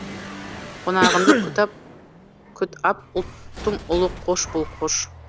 қонағыңды күт ап ұлттың ұлы қош бол қош